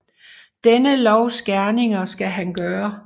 Denne lovs gerninger skal han gøre